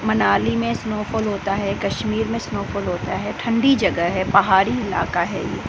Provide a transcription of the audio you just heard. मनाली में snowfall होता है कश्मीर में स्नो फॉल होता है ठंडी जगह है पहाड़ी इलाका है ये।